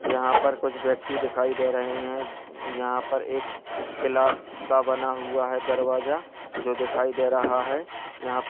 यहाँ पर कुछ व्यक्ति दिखाई दे रहे हैं। अ यहाँ पे एक ग्लास सा बना हुआ है दरवाजा जो दिखाई दे रहा है। यहाँ प --